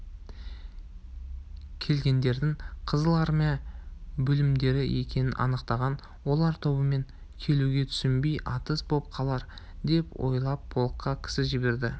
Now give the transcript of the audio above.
келгендердің қызыл армия бөлімдері екенін анықтаған олар тобымен келуге түсінбей атыс боп қалар деп ойлап полкқа кісі жіберді